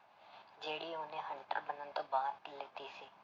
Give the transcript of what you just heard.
ਜਿਹੜੀ ਉਹਨੇ hunter ਬਣਨ ਤੋਂ ਬਾਅਦ ਲਿੱਤੀ ਸੀ।